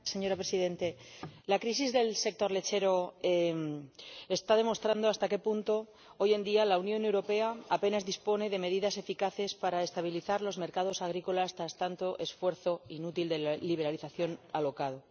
Señora Presidenta, la crisis del sector lácteo está demostrando hasta qué punto hoy en día la Unión Europea apenas dispone de medidas eficaces para estabilizar los mercados agrícolas tras tanto esfuerzo inútil de la liberalización alocada.